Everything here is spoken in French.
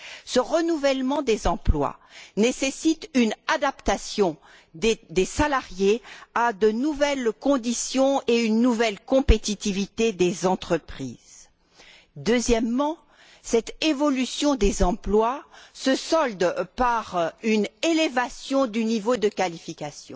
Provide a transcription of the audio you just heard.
Ce renouvellement des emplois nécessite une adaptation des salariés à de nouvelles conditions et à une nouvelle compétitivité des entreprises. Deuxièmement, cette évolution des emplois se solde par une élévation du niveau de qualification.